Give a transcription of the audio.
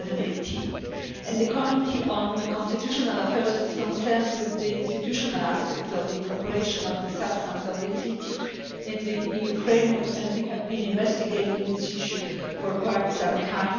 2018. The Committee on Constitutional Affairs is concerned with the institutional aspects of the incorporation of the substance of the Treaty in the EU framework, and we have been investigating this issue for quite some time.